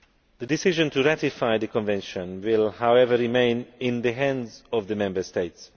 The decision to ratify the Convention will, however, remain in the hands of the Member States.